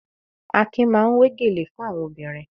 Akin máa ń wé gèlè fún àwọn obìnrin.